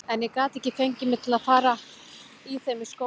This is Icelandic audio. En ég gat ekki fengið mig til að fara í þeim í skólann.